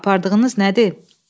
Apardığınız nədir?